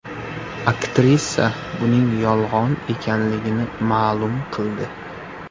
Aktrisa buning yolg‘on ekanligini ma’lum qildi.